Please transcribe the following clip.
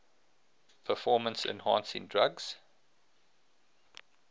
performance enhancing drugs